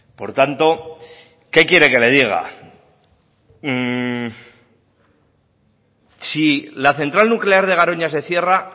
por tanto qué quiere que le diga si la central nuclear de garoña se cierra